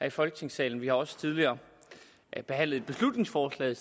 i folketingssalen vi har også tidligere behandlet et beslutningsforslag